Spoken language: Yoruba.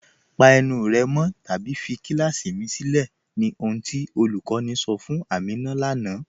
Pa ènù rẹ́ mọ̀ tàbí fí kílàsí mì sìlẹ̀, ní ohun tí olúkọ̀ní sọ̀ fún Àmínà lánà.